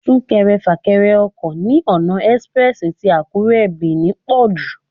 Súnkẹrẹ fàkẹrẹ ọkọ̀ ní ọ̀nà express tì Àkúré /Benin pọ̀jù.